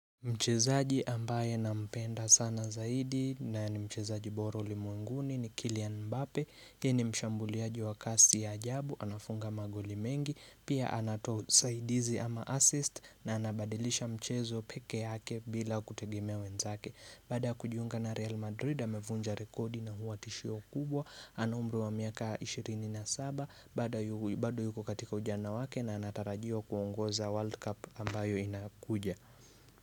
Mchezaji ambaye na mpenda sana zaidi na ni mchezaji boroli mwenguni ni Kylian Mbape Yeye ni mshambuliaji wa kasi ya ajabu, anafunga maguli mengi Pia anatoa usaidizi ama assist na anabadilisha mchezo peke yake bila kutegemea wenzake Baada kujiunga na Real Madrid, amefunja rekodi na huwa tishio kubwa Anaumri wa miaka 27, bado yuko katika ujana wake na anatarajia kuongoza World Cup ambayo inakuja.